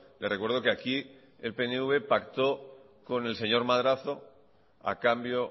le recuerdo que aquí el pnv pactó con el señor madrazo a cambio